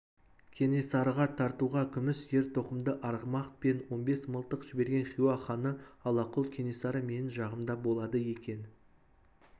кенесарыға тартуға күміс ер-тоқымды арғымақ пен он бес мылтық жіберген хиуа ханы аллақұл кенесары менің жағымда болады екен